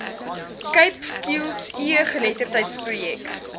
cape skills egeletterdheidsprojek